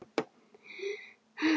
Ungur Belgi.